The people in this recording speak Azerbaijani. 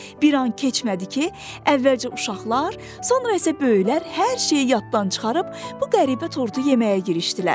Bir an keçmədi ki, əvvəlcə uşaqlar, sonra isə böyüklər hər şeyi yaddan çıxarıb bu qəribə tortu yeməyə girişdilər.